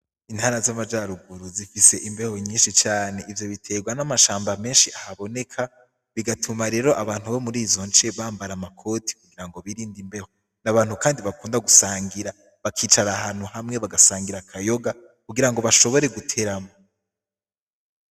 Intana z'amajaruguru zifise imbeho nyinshi cane ivyo biterwa n'amashamba menshi ahaboneka bigatuma rero abantu bo muri izo nce bambara amakoti kugira ngo birinda imbeho n'abantu, kandi bakunda gusangira bakicara ahantu hamwe bagasangira akayoga kugira ngo bashobore guteramo.